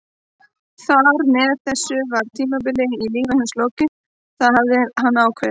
Þar með var þessu tímabili í lífi hans lokið, það hafði hann ákveðið.